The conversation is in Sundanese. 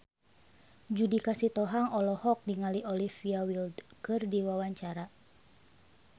Judika Sitohang olohok ningali Olivia Wilde keur diwawancara